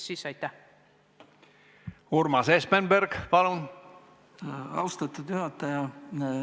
Aitäh, austatud juhataja!